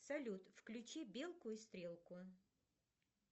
салют включи белку и стрелку